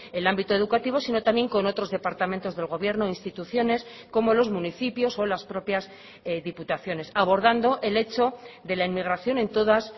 el ámbito educativo sino también con otros departamentos del gobierno instituciones como los municipios o las propias diputaciones abordando el hecho de la inmigración en todas